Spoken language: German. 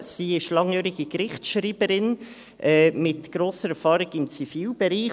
Sie ist langjährige Gerichtsschreiberin mit grosser Erfahrung im Zivilbereich.